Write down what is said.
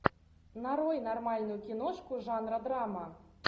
нарой нормальную киношку жанра драма